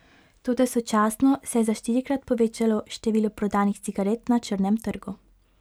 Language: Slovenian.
Toda sočasno se je za štirikrat povečalo število prodanih cigaret na črnem trgu.